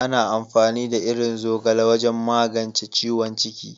Ana amfani da irin zogale wajen magance ciwon ciki.